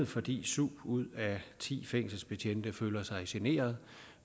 fordi syv ud af ti fængselsbetjente følger sig generet